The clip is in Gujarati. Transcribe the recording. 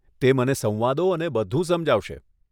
તે મને સંવાદો અને બધું સમજાવશે.